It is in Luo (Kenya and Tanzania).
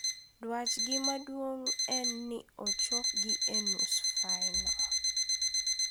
Dwache maduong' en ni ochopgi e nus fainol.